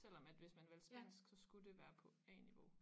Selvom at hvis man valgte spansk så skulle det være på A-niveau